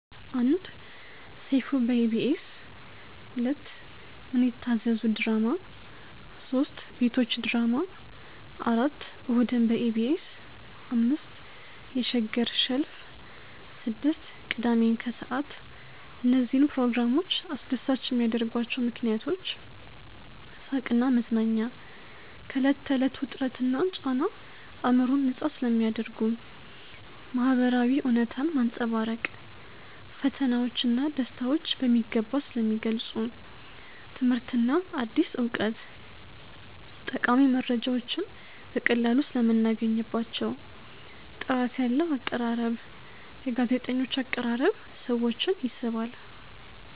1. ሰይፉ በኢቢኤስ 2. ምን ይታዘዙ ድራማ 3. ቤቶች ድራማ 4. እሁድን በኢቢኤስ 5. የሸገር ሸልፍ 6. ቅዳሜን ከሰዓት እነዚህን ፕሮግራሞች አስደሳች የሚያደርጓቸው ምክንያቶች፦ . ሳቅና መዝናኛ፦ ከዕለት ተዕለት ውጥረትና ጫና አእምሮን ነፃ ስለሚያደርጉ። . ማህበራዊ እውነታን ማንፀባረቅ፦ ፈተናዎች ና ደስታዎች በሚገባ ስለሚገልፁ። . ትምህርትና አዲስ እውቀት፦ ጠቃሚ መረጃዎችን በቀላሉ ሰለምናገኝባቸው። . ጥራት ያለው አቀራረብ፦ የጋዜጠኞች አቀራረብ ሰዎችን ይስባል።